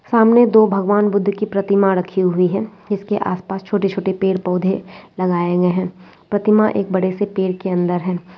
सामने दो भगवान बुद्ध की प्रतिमा रखी हुइ है। इसके आसपास छोटे-छोटे पेड़ पौधे लगाए गए हैं। प्रतिमा एक बड़े से पेड़ के अंदर है।